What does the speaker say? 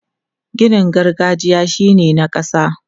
Ginin gargajiya shi ne na ƙasa.